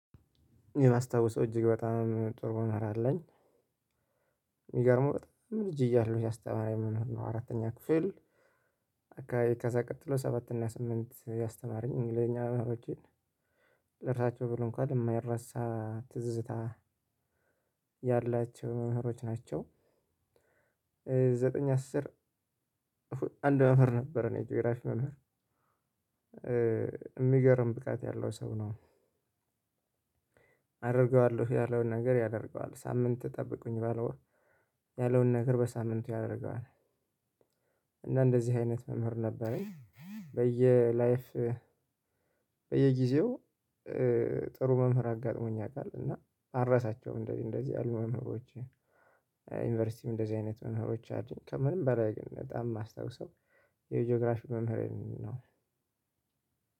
የማስታውሰው እጅግ በጣም ጥሩ የምልው አለኝ የሚገርመው በጣም ልጅ እያለሁ ያስተምራኝ ነው አራተኛ ክፍል ከዛ ቀጥሎ ሰባት እና ስምንት ያስተማረኝ እንግሊዘኛ ነገሮች ጭራሽ ብሎ እንኳን የማይረሳ ትዝታ ያላቸው መምህሮች ናቸው ዘጠኝ አስር አንድ የጂኦግራፊ መምህር የሚገርም ብቃት ያለው ሰው ነው። አደርገዋለሁ ያለውን ነገር ያደርገዋል ሳምንት ጠብቁኝ ያለውን ነገር በሳምንቱ ያደርገዋል። እና እንደዚህ አይነት መምህር ነበረኝ በየ ላይፍ በየጊዜው ጥሩ መምህር አጋጥሞኝ ያውቃል እና አልረሳቸውም እንደዚህ እንደዚህ ያሉ ነገሮችን ዩኒቨርሲቲም እንደዚህ አይነት መምህሮቻችን ከምንም በላይ በጣም የማስታውሰው የጂኦግራፊክ መምህሬን ነው።